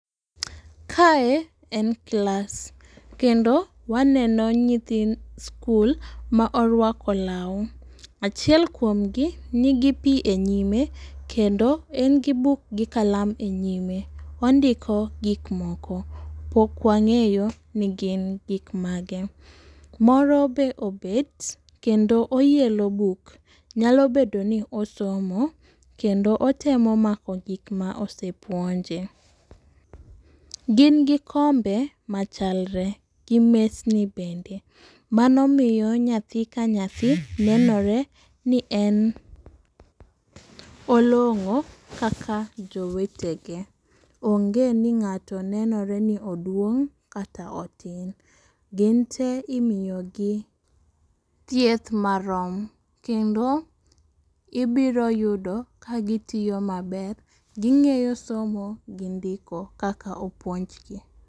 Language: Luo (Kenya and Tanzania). Kae en class, kendo waneno nyithi school ma orwako lau. achiel kuomgi nigi pi e nyime kendo en gi buk gi kalam e nyime, ondiko gik moko pok wang'eyo ni gin gik mane, moro be obed kendo oyiero buk, nyalo bedo ni osomo kendo otemo mako gik ma osepuonje. Gin gi kombe machalre, mesni bende, mano miyo nyathi ka nyathi nenore ni en olongo' kaka jowetege, ong'e ni ng'ato nenore ni oduong' kata otin, gin te imiyogi thieth marom. Kendo ibiro yudo ka gitiyo maber, ging'eyo somo gi ndiko kaka opuonjgi